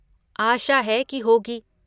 आशा है कि होगी।